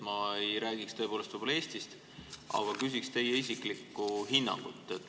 Ma ei räägi tõepoolest Eestist, aga küsin teie isiklikku hinnangut.